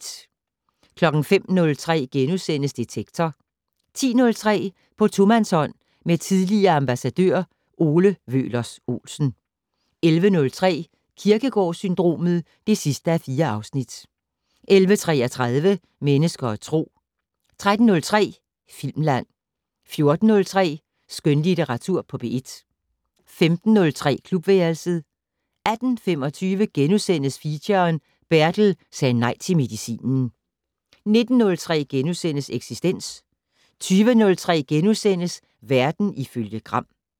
05:03: Detektor * 10:03: På tomandshånd med tidligere ambassadør Ole Wøhlers Olsen 11:03: Kierkegaard-syndromet (4:4) 11:33: Mennesker og Tro 13:03: Filmland 14:03: Skønlitteratur på P1 15:03: Klubværelset 18:25: Feature: Bertel sagde nej til medicinen * 19:03: Eksistens * 20:03: Verden ifølge Gram *